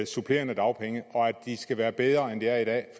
supplerende dagpenge og de skal være bedre end de er i dag